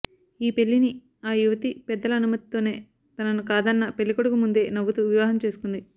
ఈ పెళ్లిని ఆ యువతీ పెద్దల అనుమతితోనే తనను కాదన్నా పెళ్లి కొడుకు ముందే నవ్వుతు వివాహం చేసుకుంది